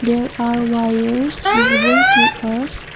there are wires visible to us.